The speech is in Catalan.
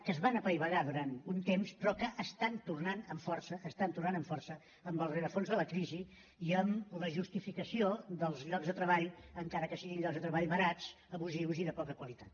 que es van apaivagar durant un temps però que estan tornant amb força estan tornant amb força amb el rerefons de la crisi i amb la justificació dels llocs de treball encara que siguin llocs de treball barats abusius i de poca qualitat